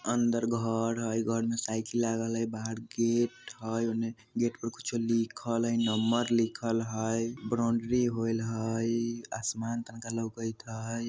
अंदर घर हई घर में साइकिल लागल हई बाहर गेट हई ओने गेट पर कुछ लिखल हई नंबर लिखल हई ब्रॉन्डारी होईल हई आसमान तनका लउकत हई ।